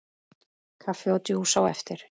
Kaffi og djús á eftir.